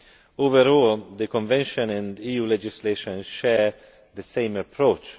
Overall, the Convention and EU legislation share the same approach.